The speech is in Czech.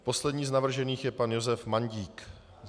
A poslední z navržených je pan Josef Mandík.